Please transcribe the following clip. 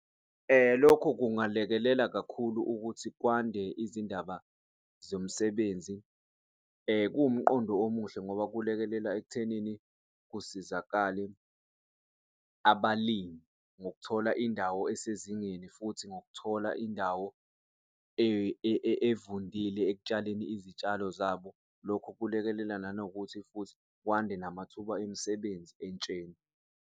Lokhu kungalekelela kakhulu ukuthi kwande izindaba zomsebenzi, kuwumqondo omuhle ngoba kulekelela ekuthenini kusizakale abalimi ngokuthola indawo esezingeni futhi ngokuthola indawo evundile ekutshaleni izitshalo zabo. Lokhu kulekelela nanokuthi futhi kwande namathuba emisebenzi entsheni.